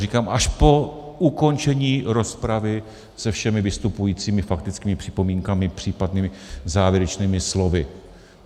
Říkám, až po ukončení rozpravy se všemi vystupujícími, faktickými připomínkami, případnými závěrečnými slovy.